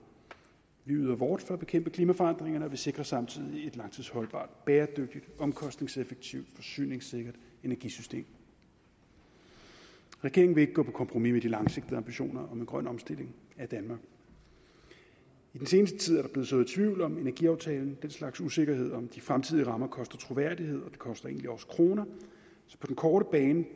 vi yder vort for at bekæmpe klimaforandringerne og vi sikrer samtidig et langtidsholdbart bæredygtigt omkostningseffektivt forsyningssikkert energisystem regeringen vil ikke gå på kompromis med de langsigtede ambitioner om en grøn omstilling af danmark i den seneste tid er sået tvivl om energiaftalen den slags usikkerhed om de fremtidige rammer koster troværdighed det koster egentlig også kroner så på den korte bane